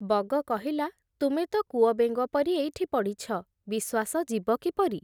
ବଗ କହିଲା, ତୁମେ ତ କୂଅବେଙ୍ଗ ପରି ଏଇଠି ପଡ଼ିଛ, ବିଶ୍ଵାସ ଯିବ କିପରି ।